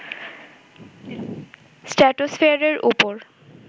স্ট্র্যাটোসফেয়ারের ওপর